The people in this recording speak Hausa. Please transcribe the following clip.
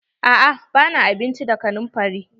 A'a ba na abinci da kanumfari.